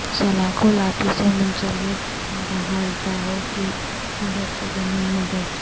سلاخوں لاٹھی سے منسلک داھلتاوں کی مدد سے زمین میں درج